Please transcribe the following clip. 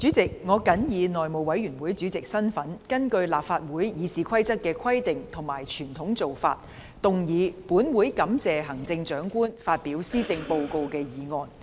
主席，我謹以內務委員會主席的身份，根據立法會《議事規則》的規定和傳統做法，動議"本會感謝行政長官發表施政報告"的議案。